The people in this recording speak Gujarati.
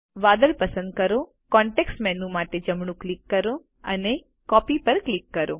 વાદળ પસંદ કરો કોન્તેક્ષ્ટ મેનૂ માટે જમણું ક્લિક કરો અને કોપી પર ક્લિક કરો